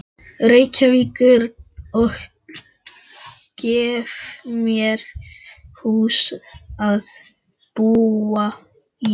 Reykjavíkur og gefa mér hús að búa í.